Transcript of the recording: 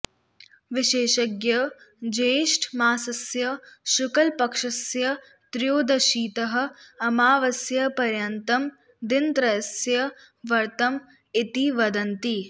विशेषज्ञाः ज्येष्ठमासस्य शुक्लपक्षस्य त्रयोदशीतः अमावास्यापर्यन्तं दिनत्रयस्य व्रतम् इति वदन्ति